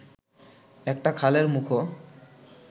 একটা খালের মুখও